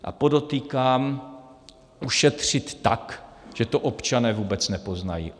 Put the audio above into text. A podotýkám, ušetřit tak, že to občané vůbec nepoznají.